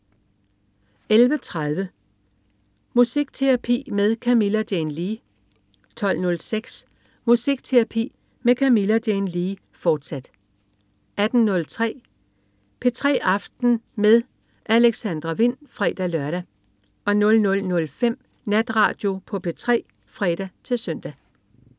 11.30 Musikterapi med Camilla Jane Lea 12.06 Musikterapi med Camilla Jane Lea, fortsat 18.03 P3 aften med Alexandra Wind (fre-lør) 00.05 Natradio på P3 (fre-søn)